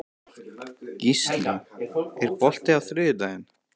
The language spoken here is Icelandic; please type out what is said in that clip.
Gíslný, er bolti á þriðjudaginn?